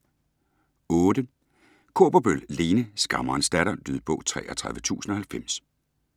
Kaaberbøl, Lene: Skammerens datter Lydbog 33090